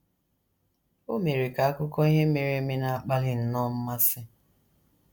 “ O mere ka akụkọ ihe mere eme na - akpali nnọọ mmasị!